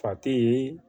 Fa te ye